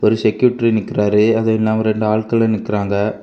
ஒரு செக்ருட்டி நிக்கிறாரு அது இல்லாம ரெண்டு ஆள்களும் நிக்கிறாங்க.